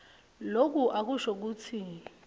loku akusho kutsi